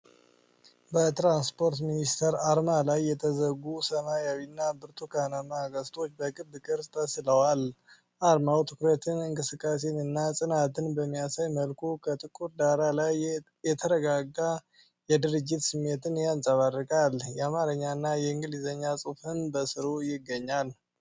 በትራንስፖርት ሚኒስቴር አርማ ላይ የተዘጉ ሰማያዊና ብርቱካናማ ቀስቶች በክብ ቅርጽ ተስለዋል። አርማው ትኩረትን፣ እንቅስቃሴን እና ጽናትን በሚያሳይ መልኩ ከጥቁር ዳራ ላይ የተረጋጋ የድርጅት ስሜትን ያንጸባርቃል። የአማርኛና የእንግሊዝኛ ጽሑፍም በስሩ ይገኛል።